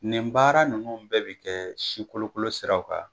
Nin baara ninnu bɛɛ bi kɛ sikolokolo siraw kan